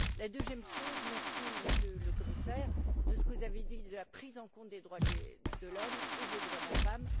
Une deuxième chose, je vous remercie, Monsieur le Commissaire, pour ce que vous avez dit sur la prise en compte des droits de l'homme et des droits de la femme.